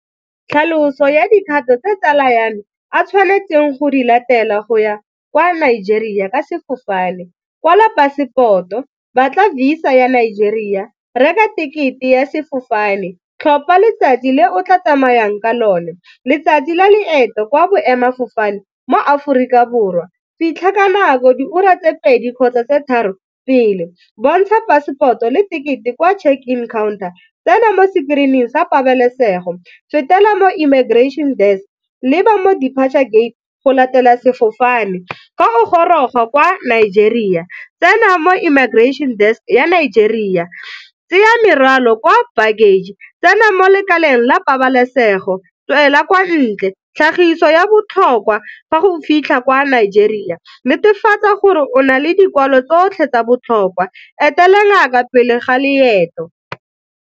Tlhaloso ya dikgato tse tsala ya me a tshwanetseng go di latela go ya kwa Nigeria ka sefofane, kwala passport-o, batla Visa ya Nigeria, reka ticket-e ya sefofane, tlhopha letsatsi le o tla tsamayang ka lone, letsatsi la leeto kwa boemadifofane mo Aforika Borwa, fitlha ka nako diura tse pedi kgotsa tse tharo pele, bontsha passport-o le ticket-e kwa check in counter, tsena mo screen-ing sa pabalesego, fetela mo immigration desk, leba mo depature gate go latela sefofane. Fa o goroga kwa Nigeria tsena mo immigration desk ya Nigeria, tseya merwalo kwa baggage, tsena mo lekaleng la pabalesego, tswela kwa ntle. Tlhagiso ya botlhokwa fa go fitlha kwa Nigeria, netefatsa gore o na le dikwalo tsotlhe tsa botlhokwa, etela ngaka ka pele ga loeto.